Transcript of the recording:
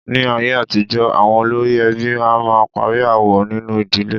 Ní ayé àtijọ́, àwọn olórí ẹbí a máà ń parí aáwọ̀ nínu ìdílé.